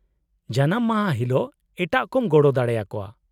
-ᱡᱟᱱᱟᱢ ᱢᱟᱦᱟ ᱦᱤᱞᱳᱜ ᱮᱴᱟᱜ ᱠᱚᱢ ᱜᱚᱲᱚ ᱫᱟᱲᱮ ᱟᱠᱚᱣᱟ ᱾